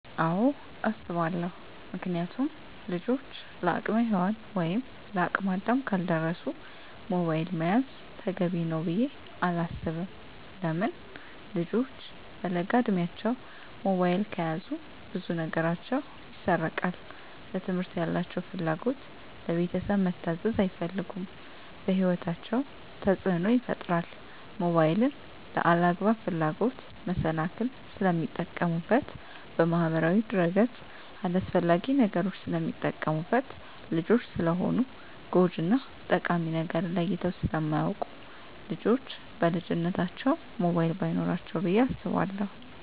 አወ አሰባለው ምክንያቱም ልጆች ለአቅመ ሄዋን ወይም ለአቅመ አዳም ካልደረሱ ሞባይል መያዝ ተገቢ ነው ብዬ አላስብም። ለምን ልጆች በለጋ እድማቸው ሞባይል ከያዙ ብዙ ነገራቸው ይሰረቃል ለትምህርት ያላቸው ፍላጎት, ለቤተሰብ መታዘዝ አይፈልጉም በህይወታቸው ተፅዕኖ ይፈጥራል ሞባይልን ለአላግባብ ፍላጎት መሰናክል ስለሚጠቀሙበት በማህበራዊ ድረ-ገፅ አላስፈላጊ ነገሮች ስለሚጠቀሙበት። ልጆች ስለሆኑ ጎጅ እና ጠቃሚ ነገርን ለይተው ስለማያወቁ ልጆች በልጅነታቸው ሞባይል በይኖራቸው ብዬ አስባለሁ።